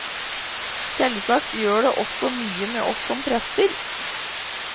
Selvsagt gjør det også mye med oss som prester.